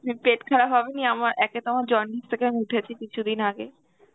হম পেট খারাপ হবে নি আমার একে তো আমার jaundice থেকে আমি উঠেছি কিছুদিন আগে